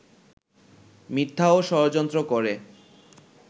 মিথ্যা ও ষড়যন্ত্র করে